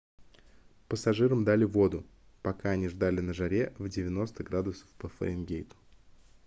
пассажирам дали воду пока они ждали на жаре в 90 градусов по фаренгейту